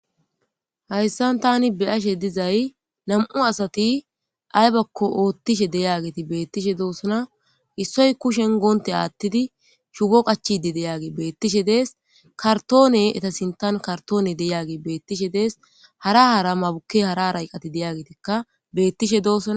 Hayssan thaani be7asheedde zay nam7u asati aybakko ooththishe beeththishe doosona; issoy kushiyan guwanttiya aaththidi shugo qachchiide diyaage beeththishe de7ees; karththoonee etha sinththan karththoonee de7iyaagee beeththishe dees; hara hara maabukkee hara hara iqath de7yageetikka beeththishe doosona.